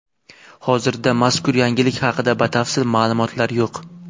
Hozirda mazkur yangilik haqida batafsil ma’lumotlar yo‘q.